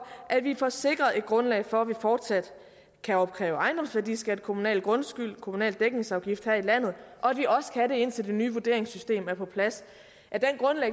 at vi får sikret et grundlag for at vi fortsat kan opkræve ejendomsværdiskat kommunal grundskyld og kommunal dækningsafgift her i landet og at vi også kan det indtil det nye vurderingssystem er på plads af